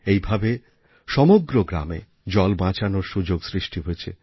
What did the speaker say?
এইভাবে সমগ্র গ্রামে জল বাঁচানোর সুযোগ সৃষ্টি হয়েছে